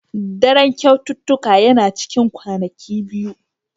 Daren kyaututtukan yana cikin kwanaki biyu.